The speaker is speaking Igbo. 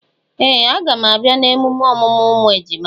Ee! A gam abịa na emume ọmụmụ ụmụ ejima.